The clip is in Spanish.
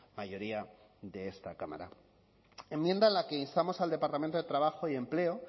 mayoría de esta cámara enmienda en la que instamos al departamento de trabajo y empleo